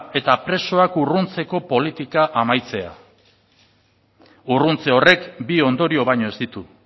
eta presoak urruntzeko politika amaitzea urruntze horrek bi ondorio baino ez ditu